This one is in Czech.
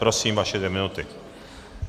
Prosím, vaše dvě minuty.